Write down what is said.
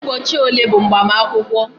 Ụbọchị ole bụ mgbamakwukwo